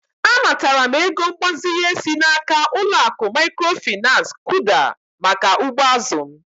Anataram ego mgbazinye si n'aka uloaku mikrofinansi KUDA maka ugbo azụ m.